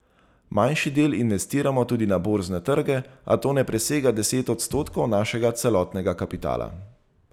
Manjši del investiramo tudi na borzne trge, a to ne presega deset odstotkov našega celotnega kapitala.